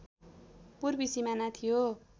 पूर्वी सिमाना थियो